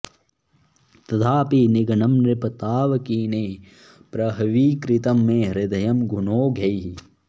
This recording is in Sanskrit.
तथापि निघ्नं नृप तावकीनैः प्रह्वीकृतं मे हृदयं गुणौघैः